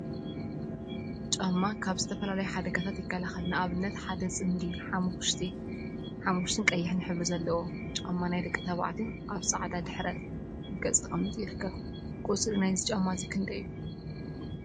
ጫማ ጫማ ካብ ዝተፈላለዩ ሓደጋታት ይከላከል፡፡ ንአብነት ሓደ ፅምዲ ሓመኩሽቲን ቀይሕን ሕብሪ ዘለዎ ጫማ ናይ ደቂ ተባዕትዮ አብ ፃዕዳ ድሕረ ገፅ ተቀሚጡ ይርከብ፡፡ ቁፅሪ ናይዚ ጫማ ክንደይ እዩ?